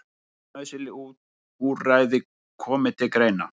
Öll nauðsynleg úrræði komi til greina